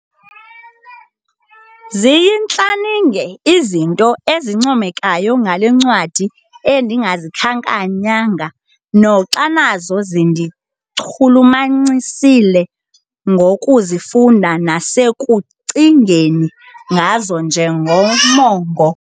Ziyintlaninge izinto ezincomekayo ngale ncwadi endingazikhankanyanga noxa nazo zindichulumancisile ngokuzifunda nasekucingeni ngazo njengomongo.